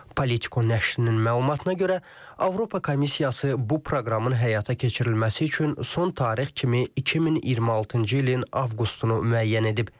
Politiko nəşrinin məlumatına görə, Avropa Komissiyası bu proqramın həyata keçirilməsi üçün son tarix kimi 2026-cı ilin avqustunu müəyyən edib.